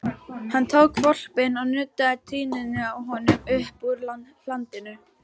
Hann tók hvolpinn og nuddaði trýninu á honum uppúr hlandinu.